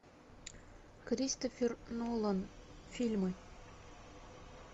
кристофер нолан фильмы